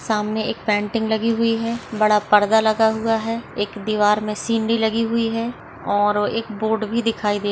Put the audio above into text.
सामने एक पेंटिंग लगी हुई है बड़ा पर्दा लगा हुआ है एक दीवार में सीनरी लगी हुई है और एक बोर्ड भी दिखाई दे--